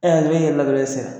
Ɛ hakili la e yɛlɛla dɔrɔn e sera